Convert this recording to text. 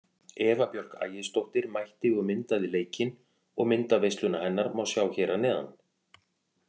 Eva Björk Ægisdóttir mætti og myndaði leikinn og myndaveisluna hennar má sjá hér að neðan.